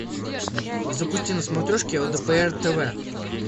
запусти на смотрешке лдпр тв